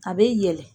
A bɛ yɛlɛ